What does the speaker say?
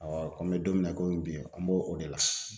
ko n bɛ don min na komi bi an b'o o de la